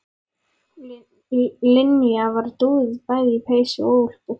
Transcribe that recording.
Linja var dúðuð bæði í peysu og úlpu.